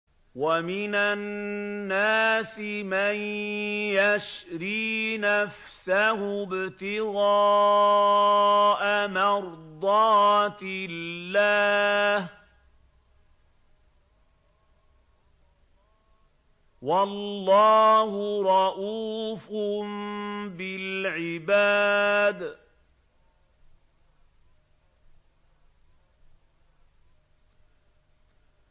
وَمِنَ النَّاسِ مَن يَشْرِي نَفْسَهُ ابْتِغَاءَ مَرْضَاتِ اللَّهِ ۗ وَاللَّهُ رَءُوفٌ بِالْعِبَادِ